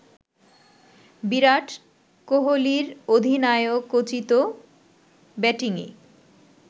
বিরাট কোহলির অধিনায়কোচিত ব্যাটিংয়ে